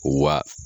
Wa